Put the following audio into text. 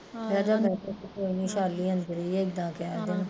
ਕੋਈ ਨਾ ਵੈਸ਼ਾਲੀ ਅੰਦਰ ਈ ਆਏ ਇੱਦਾਂ ਕਹਿ ਦੇਣਾ